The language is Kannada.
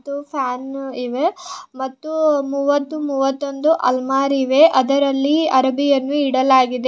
ಮತ್ತು ಫ್ಯಾನು ಇವೆ ಮತ್ತು ಮೂವತ್ತು ಮೂವತ್ತೊಂದು ಅಲ್ಮಾರಿ ಇವೆ ಅದರಲ್ಲಿ ಅರವಿ ಅರವಿ ಇಡಲಾಗಿದೆ ಇ --